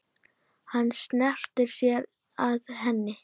Hann sneri sér að henni.